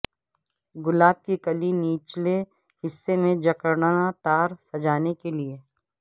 گلاب کی کلی نچلے حصے میں جکڑنا تار سجانے کے لئے